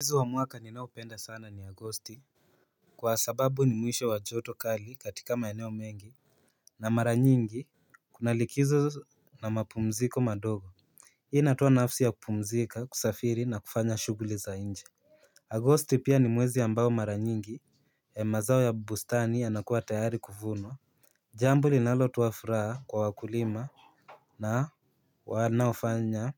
Mwezi wa mwaka ninaopenda sana ni agosti. Kwa sababu ni mwisho wa joto kali katika maeneo mengi. Na mara nyingi kunalikizo na mapumziko madogo. Hii inaitwa nafsi ya kupumzika kusafiri na kufanya shughuli za inje Agosti pia ni mwezi ambao mara nyingi na mazao ya bustani yanakuwa tayari kuvunwa. Jambo linalotoa furaha kwa wakulima na wanaofanya